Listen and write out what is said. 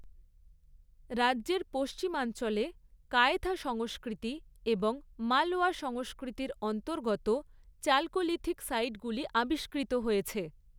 রাজ্যের পশ্চিমাঞ্চলে কায়থা সংস্কৃতি এবং মালওয়া সংস্কৃতির অন্তর্গত চালকোলিথিক সাইটগুলি আবিষ্কৃত হয়েছে।